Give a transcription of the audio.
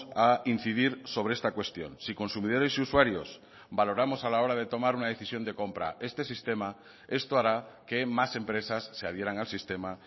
a incidir sobre esta cuestión si consumidores y usuarios valoramos a la hora de tomar una decisión de compra este sistema esto hará que más empresas se adhieran al sistema